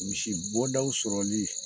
Misibɔdaw sɔrɔli